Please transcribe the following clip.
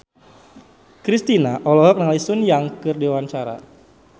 Kristina olohok ningali Sun Yang keur diwawancara